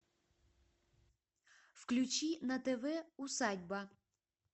включи на тв усадьба